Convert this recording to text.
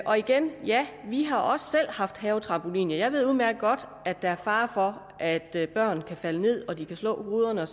og igen ja vi har også selv haft havetrampolin og jeg ved udmærket godt at der er fare for at børn kan falde ned og slå hovedet